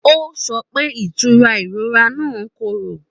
Ó sọ pé ìtura ìrora náà korò.